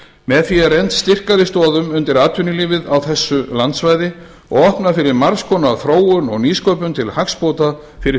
með því er rennt styrkari stoðum undir atvinnulífið á þessu landsvæði og opnað fyrir margs konar þróun og nýsköpun til hagsbóta fyrir